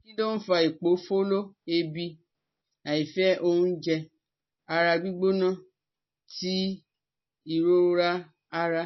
Kí ló ń fa ipofolo, eebì, àìfẹ́ oúnjẹ, ara gbigbona ti ìrora ara?